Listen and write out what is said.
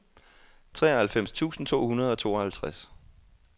treoghalvfems tusind to hundrede og tooghalvtreds